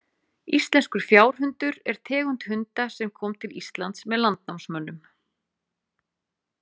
Íslenskur fjárhundur er tegund hunda sem kom til Íslands með landnámsmönnum.